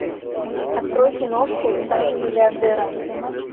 открой киношку тайна миллиардера